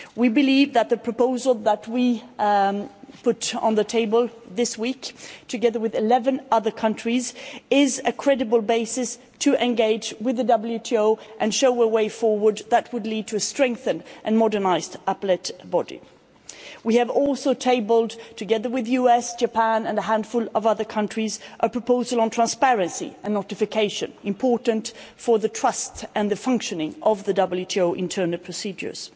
We believe that the proposal that we put on the table this week, together with 11 other countries, is a credible basis to engage with the WTO and show a way forward that would lead to a strengthened and modernised Appellate Body. We have also tabled, together with the US, Japan and a handful of other countries, a proposal on transparency and notification, which is important for trust and the functioning of the WTO internal procedures.